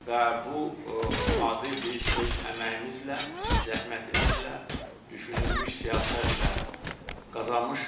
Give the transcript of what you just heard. Və bu adı biz öz əməyimizlə, zəhmətimizlə, düşünülmüş siyasətlə qazanmışıq.